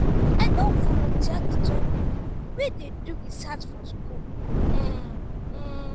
i don volunteer to join pipo wey dey do research for skool. um